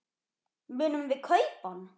Munum við kaupa hann?